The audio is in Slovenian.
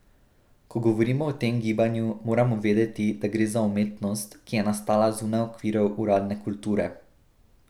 Ko govorimo o tem gibanju, moramo vedeti, da gre za umetnost, ki je nastala zunaj okvirov uradne kulture.